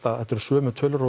að þetta eru sömu tölur